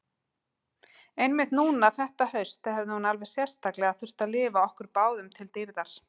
Einmitt núna þetta haust hefði hún alveg sérstaklega þurft að lifa okkur báðum til dýrðar.